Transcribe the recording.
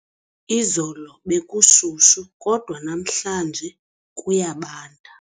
Izolo bekushushu kodwa namhlanje kuyabanda.